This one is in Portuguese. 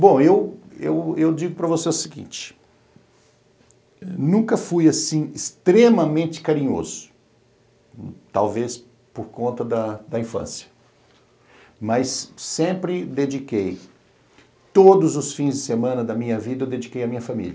Bom, eu eu digo para você o seguinte, nunca fui assim extremamente carinhoso, talvez por conta da infância, mas sempre dediquei, todos os fins de semana da minha vida, eu dediquei à minha família.